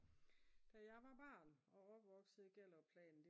da jeg var barn og opvoksede i Gellerupplanen